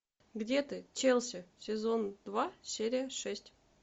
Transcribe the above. где ты челси сезон два серия шесть